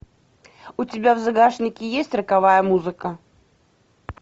у тебя в загашнике есть роковая музыка